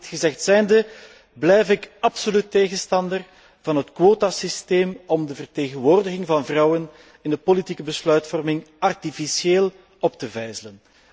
Maar, dit gezegd zijnde, blijf ik absoluut tegenstander van het quotasysteem om de vertegenwoordiging van vrouwen in de politieke besluitvorming artificieel op te vijzelen.